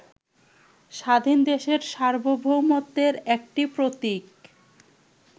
স্বাধীনদেশের সার্বভৌমত্বের একটি প্রতীক